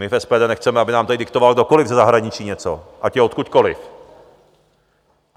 My v SPD nechceme, aby nám tady diktoval kdokoli ze zahraničí něco, ať je odkudkoliv.